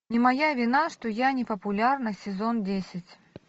не моя вина что я не популярна сезон десять